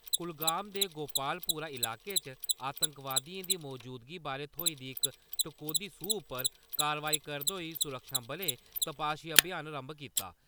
कुलगाम दे गोपालपोरा इलाके च आतंकवादिएं दी मजूदगी बारै थ्होई दी इक टकोदी सूह् उप्पर कारवाई करदे होई सुरक्षाबलें तपाशी अभियान रम्भ कीता।